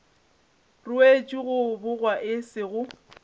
ruetšwe go bogwa e sego